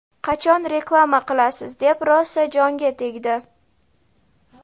qachon reklama qilasiz deb rosa jonga tegdi..